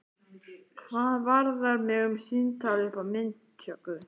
Hvað varðar mig um símtal upp á myndatöku?